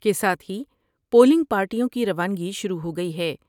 کے ساتھ ہی پولنگ پارٹیوں کی روانگی شروع ہوگئی ہے ۔